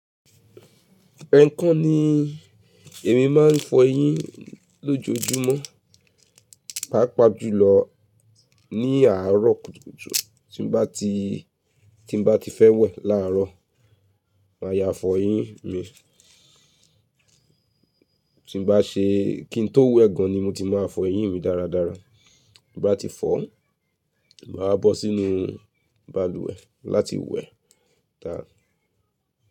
Ẹkan ni èmi máa ń fọ eyín lójoojúmọ́, pàápàá jùlọ ní àárọ̀ kùtùkùtù tí n bá ti, tí n bá ti fẹ́ wẹ̀ láàárọ̀, màá ya fọ eyín mi. Tí n bá ṣe, kí n tó wẹ̀ gan ni mo ti máa fọ eyín mi dáradára. Bí n bá ti fọ́, màá wa bọ́ sínú balùwẹ̀ láti wẹ̀. Da.